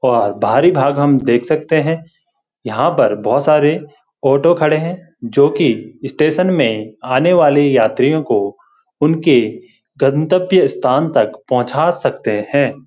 बाहरी भाग हम देख सकते हैं यहाँ पर बहुत सारे ऑटो खड़े हैं जो की स्टेशन में आने वाली यात्रीओ को उनके गंतव्य स्थान तक पहुचा सकते हैं।